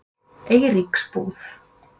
Eiríksbúð